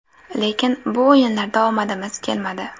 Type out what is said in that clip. Lekin bu o‘yinlarda omadimiz kelmadi.